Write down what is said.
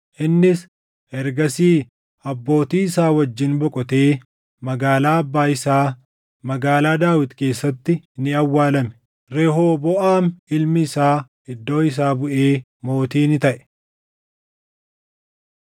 Innis ergasii abbootii isaa wajjin boqotee magaalaa abbaa isaa, magaalaa Daawit keessatti ni awwaalame. Rehooboʼaam ilmi isaa iddoo isaa buʼee mootii ni taʼe.